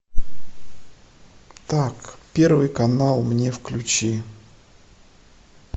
так первый канал мне включи